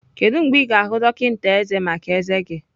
Kedu mgbe ị ga-ahụ dọkịta ezé maka ezé gị?